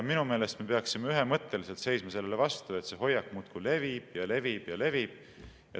Minu meelest me peaksime ühemõtteliselt seisma sellele vastu, et see hoiak muudkui levib ja levib ja levib.